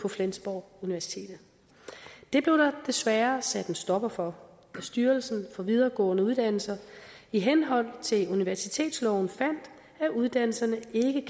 flensborg det blev der desværre sat en stopper for da styrelsen for videregående uddannelser i henhold til universitetsloven fandt at uddannelserne ikke